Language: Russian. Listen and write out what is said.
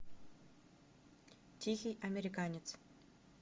тихий американец